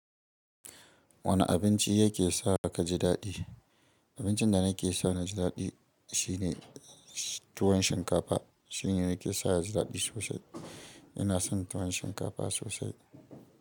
Wane abinci yake sa ka ji daɗi? Abincin da na ke sa na ji daɗi shine tuwon shinkafa. Shine nake sa ya ji daɗi sosai. Ina son tuwon shinkafa sosai.